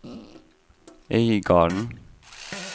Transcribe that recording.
Øygarden